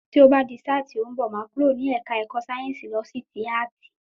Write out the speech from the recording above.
Tí o ba di sáà ti óún bo, máà kúrò ní ẹ̀ka ẹ̀kọ́ síénsì lọ sí tí áàtì